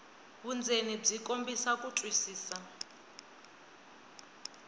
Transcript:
vundzeni byi kombisa ku twisisa